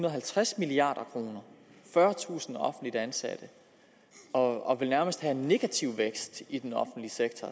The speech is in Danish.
og halvtreds milliard kroner fyrretusind offentligt ansatte og vil nærmest have en negativ økonomisk vækst i den offentlige sektor